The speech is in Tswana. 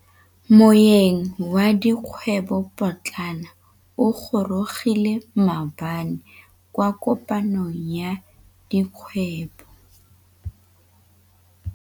Moêng wa dikgwêbô pôtlana o gorogile maabane kwa kopanong ya dikgwêbô.